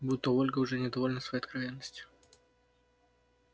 будто ольга уже недовольна своей откровенностью